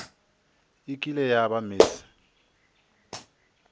e kile ya ba miss